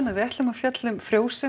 við ætlum að fjalla um frjósemi